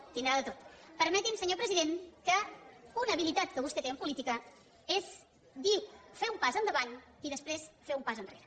deu tenir de tot permeti’m senyor president que una habilitat que vostè té en política és fer un pas endavant i després fer un pas enrere